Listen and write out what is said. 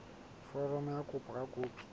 foromo ya kopo ka dikopi